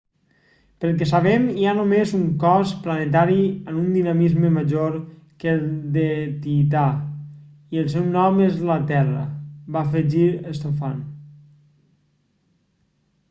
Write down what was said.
pel que sabem hi ha només un cos planetari amb un dinamisme major que el de tità i el seu nom és la terra va afegir stofan